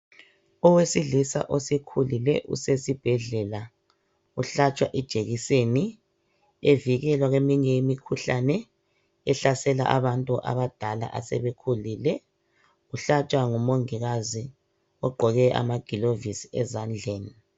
Owesilisa osekhulile usesibhedlela, uhlatshwa ijekiseni evikelwa kweminye imikhuhlane ehlasela abantu abadala asebekhulile. Uhlatshwa ngumongikazi ogqoke amagilovisi ezandleni